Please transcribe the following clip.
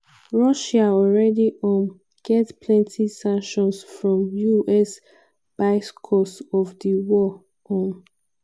russia already um get plenti sanctions from us bicos of di war. um